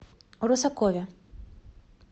русакове